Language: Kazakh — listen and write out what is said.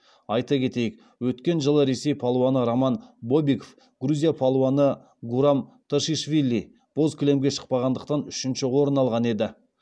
айта кетейік өткен жылы ресей палуаны роман бобиков грузия палуаны гурам тушишвили боз кілемге шықпағандықтан үшінші орын алған еді